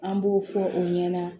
An b'o fɔ o ɲɛna